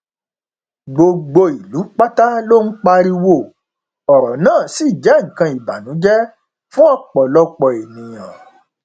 gbogbo ìlú pátá ló ń pariwo ọrọ náà ṣì jẹ nǹkan ìbànújẹ fún ọpọlọpọ èèyàn